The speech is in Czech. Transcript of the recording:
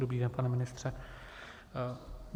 Dobrý den, pane ministře.